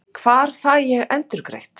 Hvar fæ ég endurgreitt?